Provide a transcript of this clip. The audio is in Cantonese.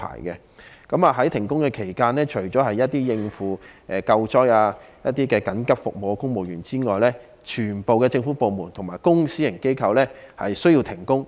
在停工期間，除了應付救災和提供緊急服務的公務員外，全部政府部門及公私營機構均必須停工。